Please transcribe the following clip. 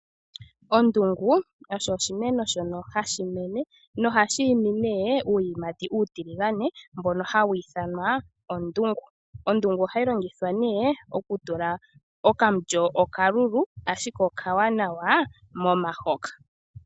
Ondungu osho oshimeno shoka hashi mene na ohashi imi uuyimati uutiligane mboka hawu ithanwa ondungu. Ondungu ohayi longithwa okutula okamulyo okalulu ashike okawanawa momahoka.